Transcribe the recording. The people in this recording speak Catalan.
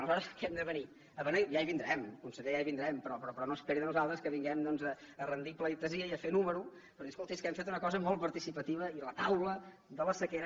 aleshores què hem de venir a beneir ja hi vindrem conseller ja hi vindrem però no esperi de nosaltres que vinguem doncs rendir pleitesia i a fer número per dir escolti és que hem fet una cosa molt participativa i la taula de la sequera